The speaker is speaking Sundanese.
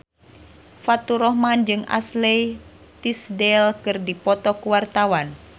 Faturrahman jeung Ashley Tisdale keur dipoto ku wartawan